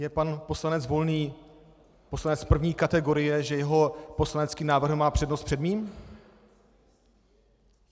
Je pan poslanec Volný poslanec první kategorie, že jeho poslanecký návrh má přednost před mým?